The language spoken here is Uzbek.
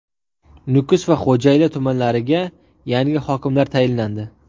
Nukus va Xo‘jayli tumanlariga yangi hokimlar tayinlandi.